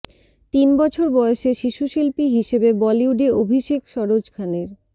তিন বছর বয়সে শিশুশিল্পী হিসেবে বলিউডে অভিষেক সরোজ খানের